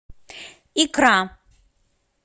икра